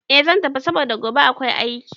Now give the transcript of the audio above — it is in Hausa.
Eh zan tafi saboda gobe akwai aiki